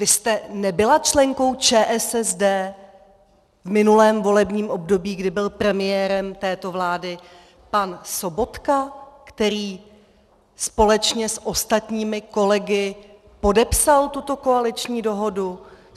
Vy jste nebyla členkou ČSSD v minulém volebním období, kdy byl premiérem této vlády pan Sobotka, který společně s ostatními kolegy podepsal tuto koaliční dohodu?